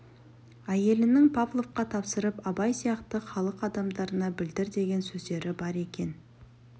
әйелінің павловқа тапсырып абай сияқты халық адамдарына білдір деген сөздері бар екен